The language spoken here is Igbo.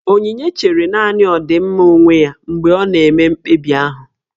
Onyinye chere nanị ọdịmma onwe ya mgbe ọ na-eme mkpebi ahụ